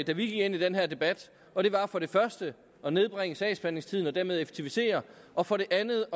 vi gik ind i den her debat og det var for det første at nedbringe sagsbehandlingstiden og dermed effektivisere og for det andet